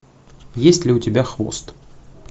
есть ли у тебя хвост